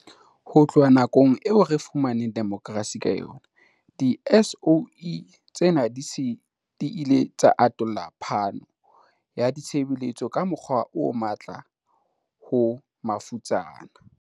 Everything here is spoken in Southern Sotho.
Ho tloha nakong eo re fumaneng demokrasi ka yona, di-SOE tsena di se di ile tsa atollela phano ya ditshebeletso ka mokgwa o matla ho mafutsana.